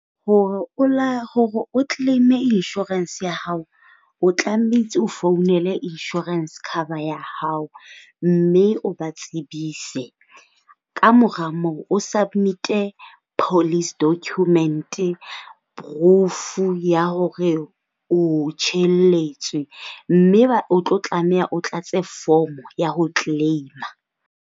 Hore o hore o claim-e insurance ya hao, o tlametse o founele insurance cover ya hao, mme o ba tsebise. Kamora moo o submit-e police document-e, proof-u ya hore o tjhelletswe. Mme o tlo tlameha o tlatse form ya ho claim-a.